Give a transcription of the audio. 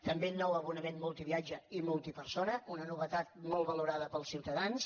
també nou abonament multiviatge i multipersona una novetat molt valorada pels ciutadans